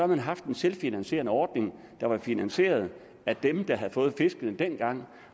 man haft en selvfinansierende ordning der var finansieret af dem der havde fået fiskene dengang